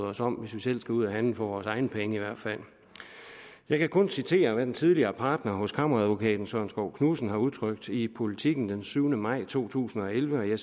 os om hvis vi skulle ud at handle for vores egne penge i hvert fald jeg kan kun citere hvad den tidligere partner hos kammeradvokaten søren skov knudsen har udtrykt i politiken den syvende maj to tusind og elleve